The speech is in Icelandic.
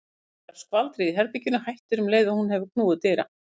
Hún heyrir að skvaldrið í herberginu hættir um leið og hún hefur knúið dyra.